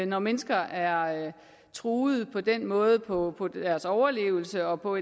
når mennesker er truet på den måde på på deres overlevelse og på